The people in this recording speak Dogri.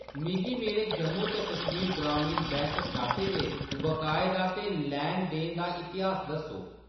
मिगी मेरे जम्मू ते कश्मीर ग्रामीण बैंक खाते दे बकाए दा ते लैन-देन दा इतिहास दस्सो।